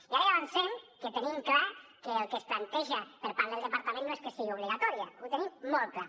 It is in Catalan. i ara ja avancem que tenim clar que el que es planteja per part del departament no és que sigui obligatòria ho tenim molt clar